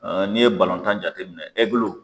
N'i ye tan jate minɛn ɛgiliw